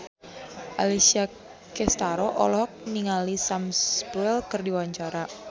Alessia Cestaro olohok ningali Sam Spruell keur diwawancara